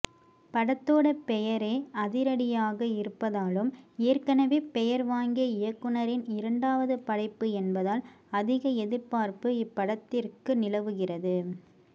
படத்தோட பெயரே அதிரடியாக இருப்பதாலும் ஏற்கனவே பெயர் வாங்கிய இயக்குனரின் இரண்டாவது படைப்பு என்பதால் அதிக எதிர்பார்ப்பு இப்படத்திற்க்கு நிலவுகிறது